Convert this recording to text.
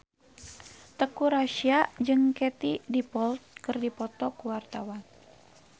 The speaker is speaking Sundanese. Teuku Rassya jeung Katie Dippold keur dipoto ku wartawan